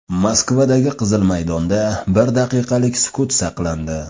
Moskvadagi Qizil maydonda bir daqiqalik sukut saqlandi.